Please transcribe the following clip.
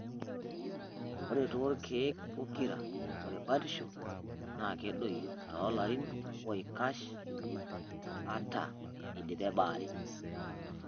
Ore toolkeek pokira, ore batisho naa kedoyio toolarin oikash ata eidipe baare.